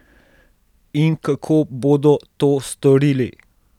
In kako bodo to storili?